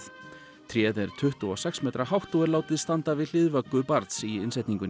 tréð er tuttugu og sex metra hátt og er látið standa við hlið vöggu barns í innsetningunni